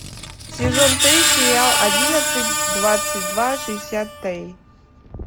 сезон три сериал одиннадцать двадцать два шестьдесят три